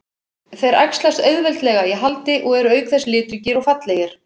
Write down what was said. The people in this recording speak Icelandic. Þeir æxlast auðveldlega í haldi og eru auk þess litríkir og fallegir.